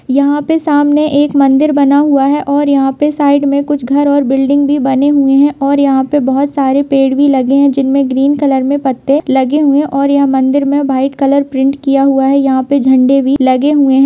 यहाँ पे सामने एक मंदिर बना हुआ है और यहाँ पे साइड में कुछ घर और बिल्डिंग भी बने हुए हैं और यहाँ पे बहुत सारे पेड़ भी लगे हैं जिनमें ग्रीन कलर में पते लगे हुए हैं और ये मंदिर में वाइट कलर प्रिंट किया हुआ है यहाँ पे झंडे भी लगे हुए हैं।